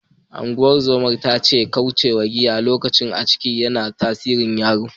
Ungozoman ta ce kauce giya lokacin ciki, yana tasirin yaron.